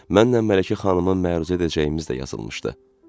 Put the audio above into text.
Mənlə Mələkə xanımın məruzə edəcəyimiz də yazılmışdı.